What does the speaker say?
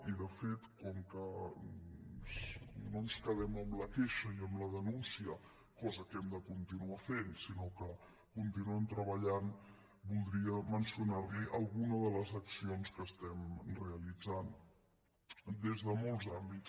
i de fet com que no ens quedem amb la queixa i amb la denúncia cosa que hem de continuar fent sinó que continuem treballant voldria mencionarli alguna de les accions que estem realitzant des de molts àmbits